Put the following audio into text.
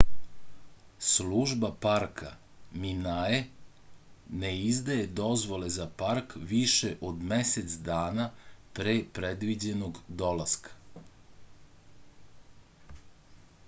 служба парка minae не издаје дозволе за парк више од месец дана пре предвиђеног доласка